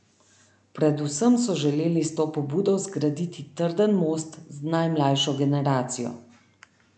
Predvsem so želeli s to pobudo zgraditi trden most z najmlajšo generacijo.